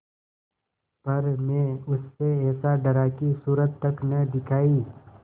पर मैं उससे ऐसा डरा कि सूरत तक न दिखायी